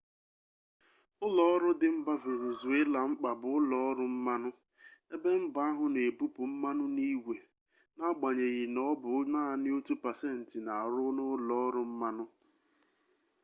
ụlọọrụ dị mba venezuela mkpa bụ ụlọọrụ mmanụ ebe mba ahụ na ebupụ mmanụ n'igwe n'agbanyeghị na ọ bụ naanị otu pasentị na-arụ n'ụlọọrụ mmanụ